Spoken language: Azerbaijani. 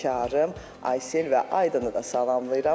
Həmkarım Aysellə və Aydınu da salamlayıram.